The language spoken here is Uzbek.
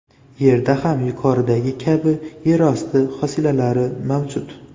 Yerda ham yuqoridagi kabi yerosti hosilalari mavjud.